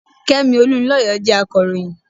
Kẹ́mi Olunlọyọ jẹ́ akọ̀ròyìn.